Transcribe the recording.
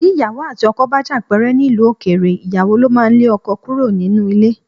Bí ìyàwó àti ọkọ bá jà pẹ́rẹ́ nílùú òkèèrè, ìyàwó ló máa ń lé ọkọ kúrò nínú ilé